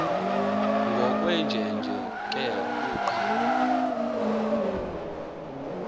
ngokwenjenje ke uqa